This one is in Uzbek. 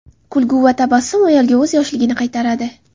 Kulgu va tabassum ayolga o‘z yoshligini qaytaradi.